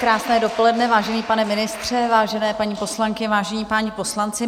Krásné dopoledne, vážený pane ministře, vážené paní poslankyně, vážení páni poslanci.